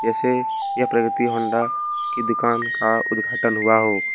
से यह प्रगति होंडा की दुकान का उद्घाटन हुआ हो।